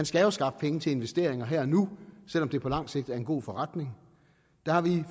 skal skaffe penge til investeringer her og nu selv om det på lang sigt er en god forretning har vi